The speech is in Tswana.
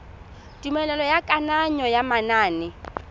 tumelelo ya kananyo ya manane